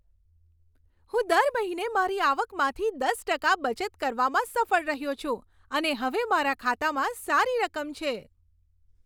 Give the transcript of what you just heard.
હું દર મહિને મારી આવકમાંથી દસ ટકા બચત કરવામાં સફળ રહ્યો છું અને હવે મારા ખાતામાં સારી રકમ છે.